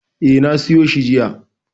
E, na siyo shi jiya.